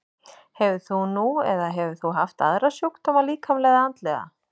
Hefur þú nú eða hefur þú haft aðra sjúkdóma, líkamlega eða andlega?